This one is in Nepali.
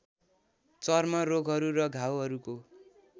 चर्म रोगहरू र घाउहरूको